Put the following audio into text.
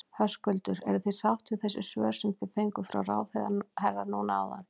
Höskuldur: Eruð þið sátt við þessi svör sem þið fenguð frá ráðherra núna áðan?